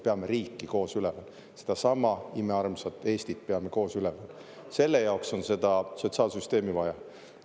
Peame riiki koos üleval, sedasama imearmsat Eestit peame koos üleval, selle jaoks on seda sotsiaalsüsteemi vaja.